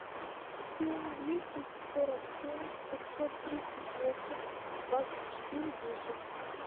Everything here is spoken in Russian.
семь двести сорок семь пятьсот тридцать восемь двадцать четыре десять